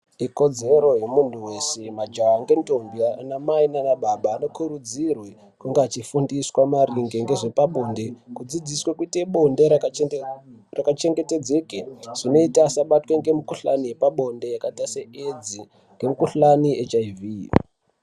Ikodzero yemuntu veshe majaha ngendombi anamai nanababa anokurudzirwe kunga achifundiswa maringe ngezvepabonde. Kudzidziswe kuite bonde rakachengetedzeke zvinota asabatwe ngemikuhlani yepabonde yakaita seedzi nemukuhlani yeechiivhi.